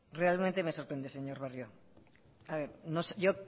realmente me sorprende señor barrio